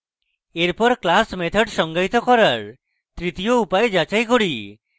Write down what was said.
এরপর class methods সঙ্গায়িত করার তৃতীয় উপায় যাচাই করি